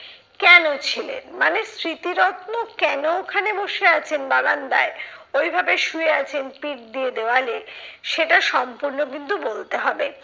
কেন ছিলেন? মানে স্মৃতিরত্ন কেন ওখানে বসে আছেন বারান্দায়, ঐভাবে শুয়ে আছেন পিঠ দিয়ে দেয়ালে সেটা সম্পূর্ণ কিন্তু বলতে হবে।